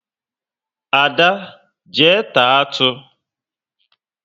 Ada, jee taa atụ!